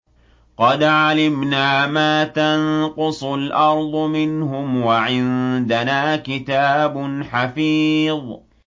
قَدْ عَلِمْنَا مَا تَنقُصُ الْأَرْضُ مِنْهُمْ ۖ وَعِندَنَا كِتَابٌ حَفِيظٌ